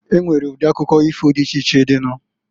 Enwere udi akụkọ ifo di iche iche dị nu.